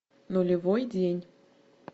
нулевой день